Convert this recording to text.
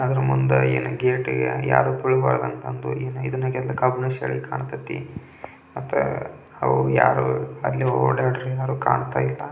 ಮುಂದೆ ಗೇಟಿಗೆ ಯಾರು ಬರಬಾರದು ಅಂತ ಕಬ್ಬಿಣ ಗೇಟು ಕಾಂತಾತಿ ಯಾರು ಓಡಾಡುತಿಲ್ಲ--